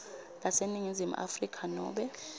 laseningizimu afrika nobe